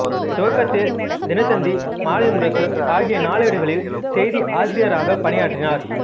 துவக்கத்தில் தினத்தந்தி மாலை முரசு ஆகிய நாளேடுகளில் செய்தி ஆசிரியராகப் பணியாறினார்